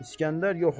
İsgəndər yox olur.